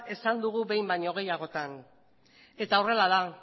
esan dugu behin baino gehiagotan eta horrela da